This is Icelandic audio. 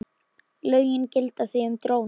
Lögin gilda því um dróna.